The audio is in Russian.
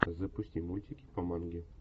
запусти мультики по манге